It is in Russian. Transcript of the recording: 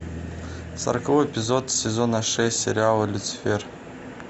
сороковой эпизод сезона шесть сериала люцифер